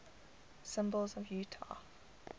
symbols of utah